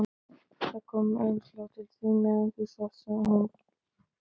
Það kom umslag til þín meðan þú svafst, sagði hún.